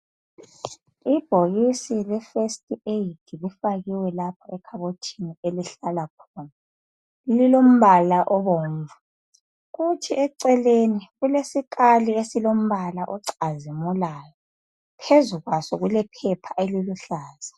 Ibhokisi le first aid lifakiwe lapha ekhabothini elihlala khona. Lilombala obomvu. Kuthi eceleni kulesikali esilombala ocazimulayo. Phezu kwaso kulephepha eliluhlaza.